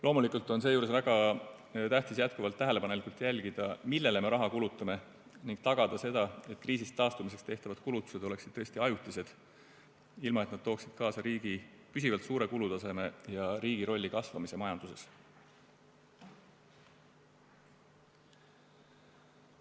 Loomulikult on seejuures väga tähtis jätkuvalt tähelepanelikult jälgida, millele me raha kulutamine, ning tagada see, et kriisist taastumiseks tehtavad kulutused oleksid tõesti ajutised, ilma et nad tooksid kaasa riigi püsivalt suure kulutaseme ja riigi rolli kasvamise majanduses.